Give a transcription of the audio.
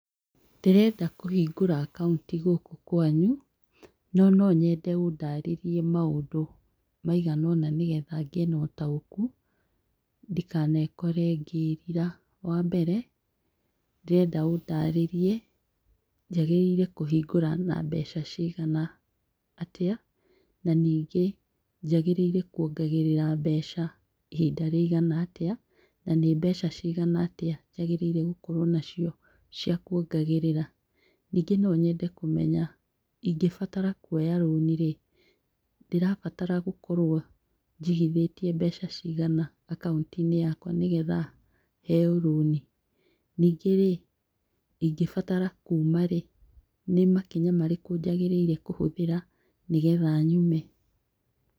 Ndĩrenda kũhingũra akaunti gũkũ kwanyũ, no no nyende ũndarĩrie maũndũ maiga ũna nĩ getha ngĩe na ũtaũku ndikanekore ngĩrira. Wa mbere, ndĩrenda ũndarĩrie njagĩrĩire kũhingũra na mbeca cigana, atĩa na ningĩ njagĩrĩire kuongagĩrĩra mbeca ihinda rĩigana atĩa na nĩ mbeca cigana atĩa njagĩrĩire gũkorwo nacio cia kuongagĩrĩra. Ningĩ no nyende kũmenya ingĩbatara kuoya rũni rĩ, ndĩrabatara gũkorwo njigithĩtie mbeca cigana akaunti-inĩ yakwa nĩ getha heo rũni? Ningĩ rĩ, ingĩbatara kuuma rĩ, nĩ makinya marĩkũ njagĩrĩirwo kũhũthĩra nĩ getha nyume?